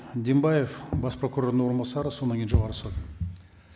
дембаев бас прокурордың орынбасары содан кейін жоғарғы сот